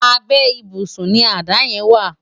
Àbè ibúsùn ni àdá yèn wá